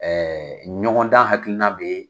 Ɛɛ ɲɔgɔn dan hakilinna bɛ